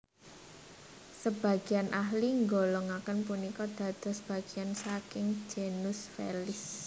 Sebagian ahli nggolongakèn punika dados bagian saking genus Felis